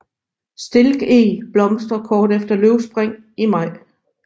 Stilkeg blomstrer kort efter løvspring i maj